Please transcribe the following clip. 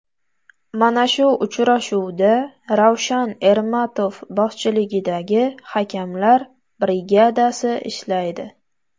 Mana shu uchrashuvda Ravshan Ermatov boshchiligidagi hakamlar brigadasi ishlaydi.